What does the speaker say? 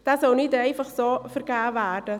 Dieser soll nicht einfach vergeben werden.